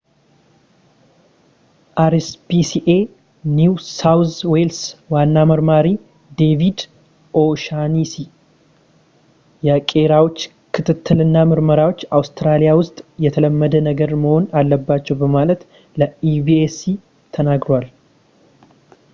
አርኤስፒሲኤ ኒው ሳውዝ ዌልስ ዋና መርማሪ ዴቪድ ኦ'ሻነሲ የቄራዎች ክትትል እና ምርመራዎች አውስትራሊያ ውስጥ የተለመደ ነገር መሆን አለባቸው በማለት ለኤቢሲ ተነግሯል